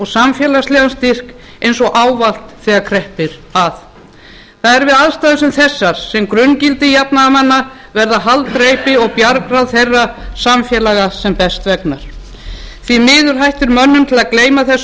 samfélagslegan styrk eins og ávallt þegar kreppir að það er við aðstæður sem þessar sem grunngildi jafnaðarmanna verða haldreipi og bjargráð þeirra samfélaga sem best vegnar því miður hættir mönnum til að gleyma þessum